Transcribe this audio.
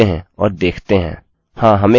अतःचलिए इसको खोलते हैं और देखते हैं